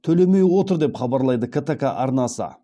төлемей отыр деп хабарлайды ктк арнасы